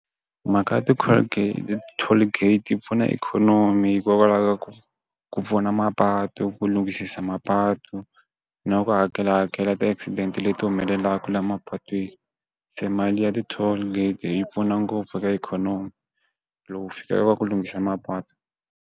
Mhaka ya ti colgate, toll gate yi pfuna ikhonomi hikokwalaho ka ku ku pfuna mapatu ku lungisisa mapatu na ku hakela hakela ti accident leti humelelaka laha mapatweni se mali ya ti toll gate yi pfuna ngopfu eka ikhonomi lowu fikelela ka ku lunghisiwa mapatu.